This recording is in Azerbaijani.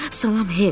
Salam, Hek.